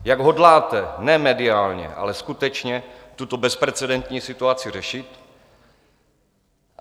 Jak hodláte ne mediálně, ale skutečně tuto bezprecedentní situaci řešit?